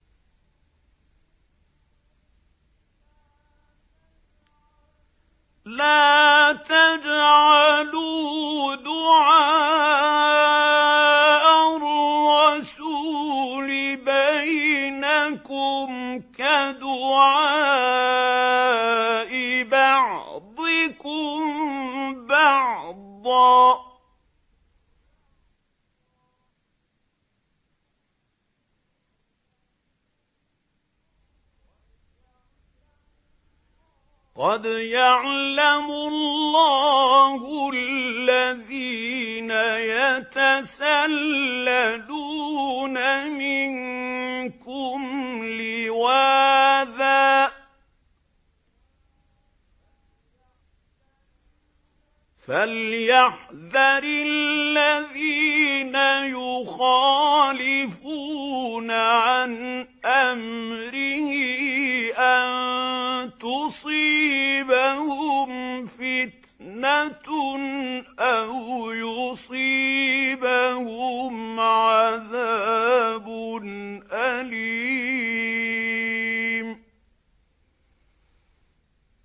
لَّا تَجْعَلُوا دُعَاءَ الرَّسُولِ بَيْنَكُمْ كَدُعَاءِ بَعْضِكُم بَعْضًا ۚ قَدْ يَعْلَمُ اللَّهُ الَّذِينَ يَتَسَلَّلُونَ مِنكُمْ لِوَاذًا ۚ فَلْيَحْذَرِ الَّذِينَ يُخَالِفُونَ عَنْ أَمْرِهِ أَن تُصِيبَهُمْ فِتْنَةٌ أَوْ يُصِيبَهُمْ عَذَابٌ أَلِيمٌ